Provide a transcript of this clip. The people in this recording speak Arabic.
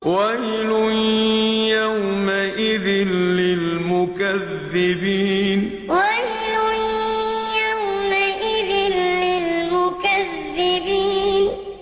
وَيْلٌ يَوْمَئِذٍ لِّلْمُكَذِّبِينَ وَيْلٌ يَوْمَئِذٍ لِّلْمُكَذِّبِينَ